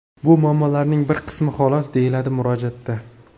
Bu muammolarning bir qismi xolos”, deyiladi murojaatda.